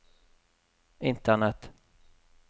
internett